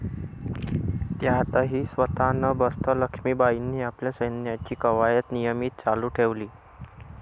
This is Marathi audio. त्यातही स्वतः न बसता लक्षमीबाईंनी आपल्या सैन्याची कवायत नियमित चालू ठेवली.